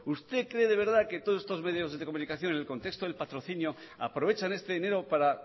usted cree de verdad que todos estos medios de comunicación en el contexto del patrocinio aprovechan este dinero para